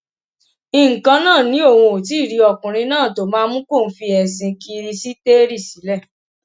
nǹkanná ni òun ò tí ì rí ọkùnrin náà tó máa mú kóun fi ẹsìn kirisítérì sílẹ